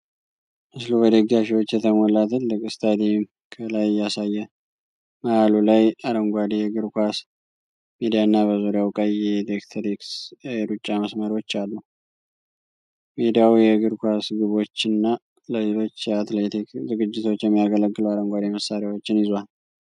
ምስሉ በደጋፊዎች የተሞላ ትልቅ ስታዲየም ከላይ ያሳያል። መሃሉ ላይ አረንጓዴ የእግር ኳስ ሜዳና በዙሪያው ቀይ የአትሌቲክስ የሩጫ መስመሮች አሉ። ሜዳው የእግር ኳስ ግቦችና ለሌሎች የአትሌቲክስ ዝግጅቶች የሚያገለግሉ አረንጓዴ መሣሪያዎችን ይዟል።